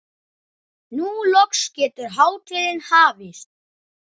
Nú loks getur hátíðin hafist.